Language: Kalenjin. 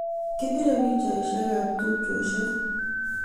Kipirei pichaishek ab tupcheshek